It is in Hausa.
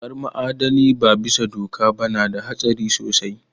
Haƙar ma'adanai ba bisa doka ba na da hatsari sosai